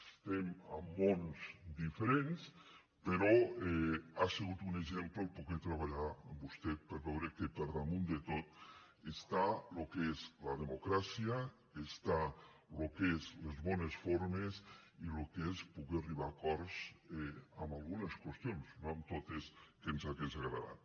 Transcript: estem en mons diferents però ha sigut un exemple poder treballar amb vostè per veure que per damunt de tot està el que és la democràcia està el que són les bones formes i el que és poder arribar a acords en algunes qüestions no en totes que ens hagués agradat